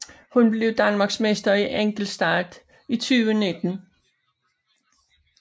Hun blev Danmarksmester i enkeltstart 2019